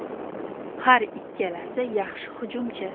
Har ikkalasi yaxshi hujumchi.